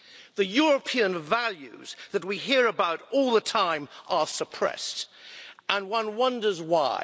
The European values that we hear about all the time are suppressed, and one wonders why.